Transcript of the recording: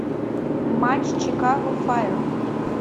матч чикаго файр